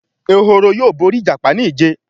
Ehoro yóò bóri ìjàpá ní ije.